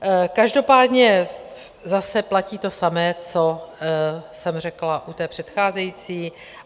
Každopádně zase platí to samé, co jsem řekla u té předcházející.